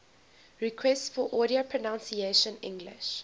requests for audio pronunciation english